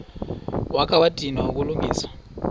wakha wadinwa kukulungisa